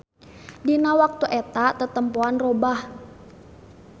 Dina waktu eta tetempoan robah.